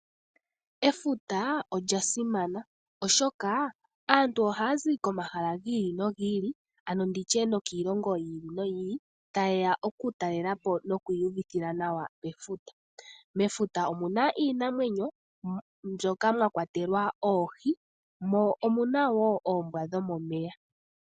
Efuta olya simana molwaashoka aantu ohaazi komahala giili nogiili tayeya okutalelapo nokwiiyuvithila nawa pefuta. Mefuta omuna iinamwenyo ngaashi oohi noshowoo oombwa dhomomeya.